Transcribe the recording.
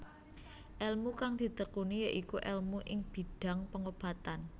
Elmu kang ditekuni ya iku elmu ing bidhang pengobatan